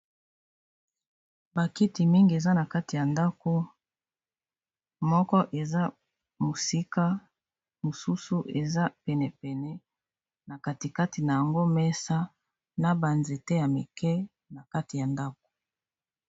Ba kiti mingi eza na kati ya ndako moko eza mosika, mosusu eza penepene na katikati na yango mesa na banzete ya mike na kati ya ndako.